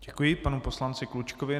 Děkuji panu poslanci Klučkovi.